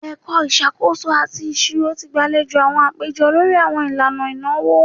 Ẹka Isakoso ati Iṣiro ti gbalejo awọn apejọ lori awọn ilana inawo